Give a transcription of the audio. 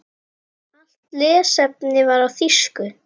Allt lesefni var á þýsku.